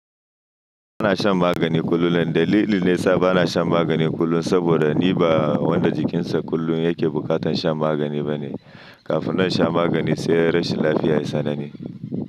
Ba na shan magani kullum. Dalili nesa ba na shan magani kullum saboda ni ba wanda jikinsa kullum yake bukatan shan magani ba ne. Kafin nan in sha magani sai rashin lafiya ya sanani.